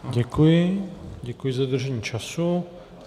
Děkuji, děkuji za dodržení času.